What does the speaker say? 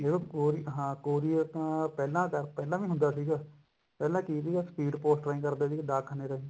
ਜਦੋ courier ਹਾਂ courier ਪਹਿਲਾਂ ਵੀ ਹੁੰਦਾ ਸੀਗਾ ਪਹਿਲਾਂ ਕਿ ਹੁੰਦਾ ਸੀ speed post ਨਾਲ ਕਰਦੇ ਸੀਗੇ ਡਾਕਖਾਨੇ ਰਾਹੀਂ